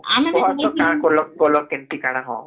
.....କୁହତ କାଣା କଲ କଲ କେମିତି କଣ